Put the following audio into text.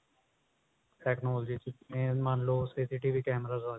technology ਚ main ਮੰਨਲੋ CCTV